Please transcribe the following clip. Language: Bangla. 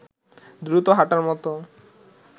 দ্রুত হাঁটার মতো